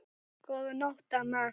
Góða nótt, amma.